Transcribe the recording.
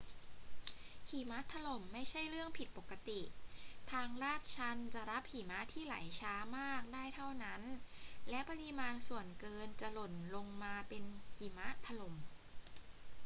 หิมะถล่มไม่ใช่เรื่องผิดปกติ ทางลาดชันจะรับหิมะที่ไหลช้ามากได้เท่านั้น และปริมาณส่วนเกินจะหล่นลงมาเป็นหิมะถล่ม